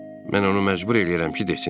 Mən onu məcbur eləyirəm ki, desin.